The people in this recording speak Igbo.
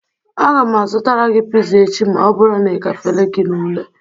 Aga m azụtara gị pizza echi ma ọ bụrụ na ị gafere gị ule